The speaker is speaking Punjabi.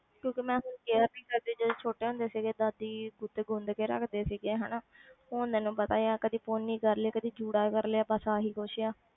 ਕਿਉਂਕਿ ਮੈਂ ਹੁਣ care ਨੀ ਕਰਦੀ ਜਦੋਂ ਛੋਟੇ ਹੁੰਦੇ ਸੀਗੇ ਦਾਦੀ ਗੁੱਤ ਗੁੰਨ ਕੇ ਰੱਖਦੇ ਸੀਗੇ ਹਨਾ ਹੁਣ ਤੈਨੂੰ ਪਤਾ ਹੀ ਆ ਕਦੇ ਪੋਨੀ ਕਰ ਲਈ, ਕਦੇ ਜੂੜਾ ਕਰ ਲਿਆ ਬਸ ਆਹੀ ਕੁਛ ਹੈ।